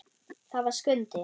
Það var Skundi.